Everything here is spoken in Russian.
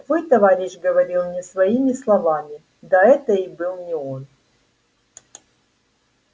твой товарищ говорил не своими словами да это и был не он